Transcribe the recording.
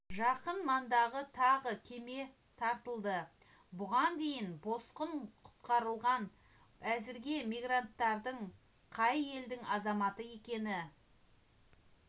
жақын маңдағы тағы кеме тартылды бұған дейін босқын құтқарылған әзірге мигранттардың қай елдің азаматы екені